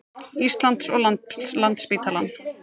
Íslands og Landspítalann.